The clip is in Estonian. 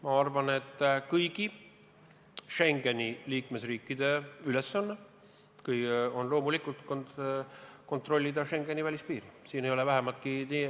Ma arvan, et kõigi Schengeni riikide ülesanne on loomulikult kontrollida Schengeni välispiiri.